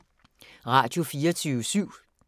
Radio24syv